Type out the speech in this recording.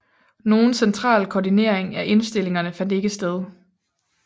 Nogen central koordinering af indstillingerne fandt ikke sted